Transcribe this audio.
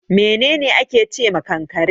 Menene ake ce ma kankare.